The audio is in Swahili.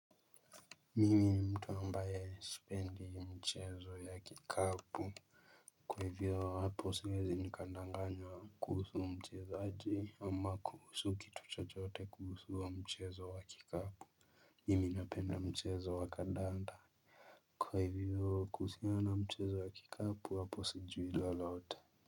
Mimi ni mtu ambaye sipendi mchezo ya kikapu. Kwa hivyo hapo siwezi nikadanganya kuhusu mchezaji ama kuhusu kitu chochote kuhusu huo mchezo wa kikapu. Mimi napenda mchezo wa kandanda. Kwa hivyo kuhusiana mchezo wa kikapu hapo sijui lolote.